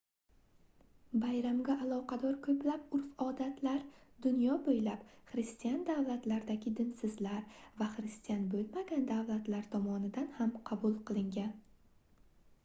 bayramga aloqador koʻplab urf-odatlar dunyo boʻylab xristian davlatlardagi dinsizlar va xristian boʻlmagan davlatlar tomonidan ham qabul qilingan